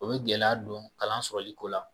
O bɛ gɛlɛya don kalan sɔrɔli ko la